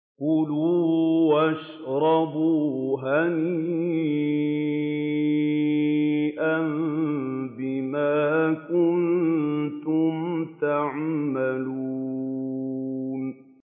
كُلُوا وَاشْرَبُوا هَنِيئًا بِمَا كُنتُمْ تَعْمَلُونَ